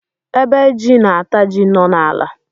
Ébé jị na ata jị nọ na ala